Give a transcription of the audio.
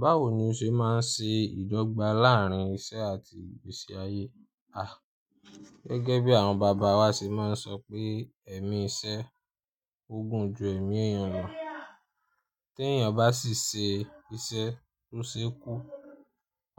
Báwo ni o ṣe máa ń ṣe ìdọ́gba láàárín isẹ́ àti ìgbésí ayé? Ah! Gẹ́gẹ́ bí àwọn bàbá wa ṣe máa ń sọ pé èmi isẹ́ ogún ju èmi ènìyàn lọ. Tí ènìyàn bá sì ṣe isẹ́ tó ṣe kú,